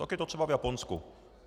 Tak je to třeba v Japonsku.